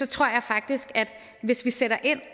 tror jeg faktisk at vi hvis vi sætter ind